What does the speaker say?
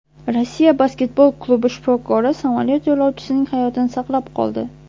Rossiya basketbol klubi shifokori samolyot yo‘lovchisining hayotini saqlab qoldi.